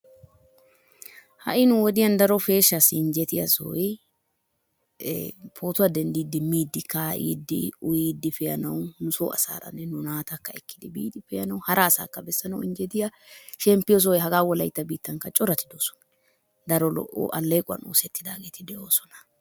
ha'i nu woddiyan daro peshshaassi injjettiya sohoy ee poottuea dendiidi miidi kaa'iidi in uyiidi pee'anawu nusoo asaaranne nu naatakka ekkidi biidi pee'anawu hara asaakka bessanawu injjetiya shemppiyo sohoy hagaa wolaytta biittankka corati doosona. daro aleequwan oosettidaageti de'oosona.